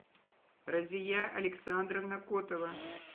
разия александровна котова